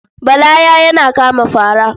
Bala ya yana kama fara.